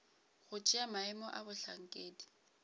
go tšea maemo a bohlankedi